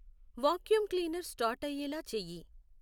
vacuum cleaner start అయ్యేలా చేయి